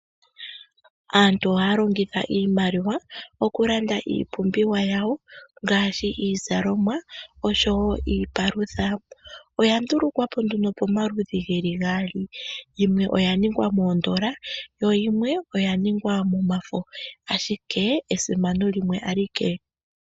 Aantu ohaya longitha iimaliwa okulanda iipumbiwa yawo ngaashi iizalomwa osho wo iipalutha. Oya ndulukwa po nduno pamaludhi ge li gaali. Yimwe oya ningwa moodola yo yimwe oya ningwa momafo, ashike esimano limwe alike.